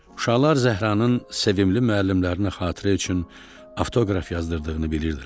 Uşaqlar Zəhranın sevimli müəllimlərinə xatirə üçün avtoqraf yazdırdığını bilirdilər.